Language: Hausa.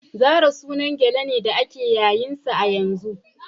Zara sunan gele ne da ake yayin sa yanzu.